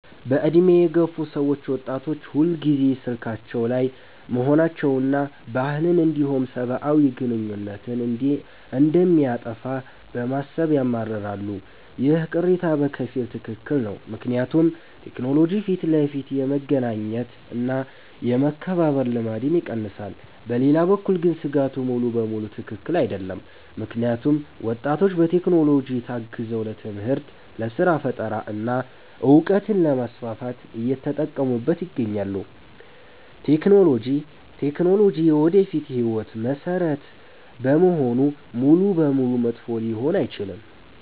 በዕድሜ የገፉ ሰዎች ወጣቶች ሁልጊዜ ስልካቸው ላይ መሆናቸውንና ባህልን እንዲሁም ሰብአዊ ግንኙነትን እንደሚያጠፋ በማሰብ ያማርራሉ። ይህ ቅሬታ በከፊል ትክክል ነው፤ ምክንያቱም ቴክኖሎጂ ፊት ለፊት የመገናኘት እና የመከባበር ልማድን ይቀንሳል። በሌላ በኩል ግን ስጋቱ ሙሉ በሙሉ ትክክል አይደለም፤ ምክንያቱም ወጣቶች በቴክኖሎጂ ታግዘው ለትምህርት፣ ለስራ ፈጠራ እና እውቀትን ለማስፋፋት እየተጠቀሙበት ይገኛሉ። ቴክኖሎጂ የወደፊት ህይወት መሰረት በመሆኑ ሙሉ በሙሉ መጥፎ ሊሆን አይችልም።